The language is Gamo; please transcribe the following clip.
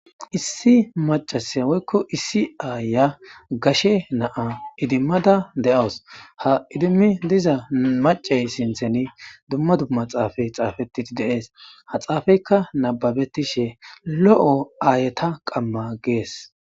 issi macasiya woykko issi aaya gashe naa idimmada de7awus ha idimmi diza macey sintheni dumma dumma xaafay xaafeti deees ha xaafeyka nababetishe lo7o aayeta qamma gees